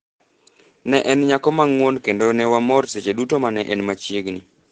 Ne en nyako ma ng’won kendo ne wamor seche duto ma ne en machiegni,